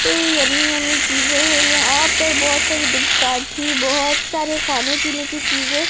yummy yummy चीजे हैं यहां पर बहोत सारी दुकाठी बहोत सारे खाने पीने की चीजे--